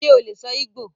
Ṣe o lè sọ Igbò?